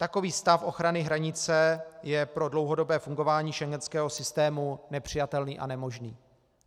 Takový stav ochrany hranice je pro dlouhodobé fungování schengenského systému nepřijatelný a nemožný.